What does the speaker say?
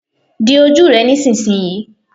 Di ojú rẹ nísinsìnyí.